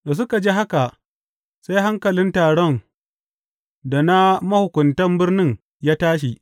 Da suka ji haka, sai hankalin taron da na mahukuntan birnin ya tashi.